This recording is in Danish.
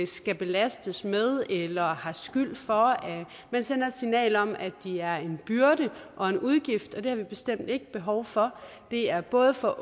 skal belastes med eller har skyld for man sender et signal om at de er en byrde og en udgift og det har vi bestemt ikke behov for det er både for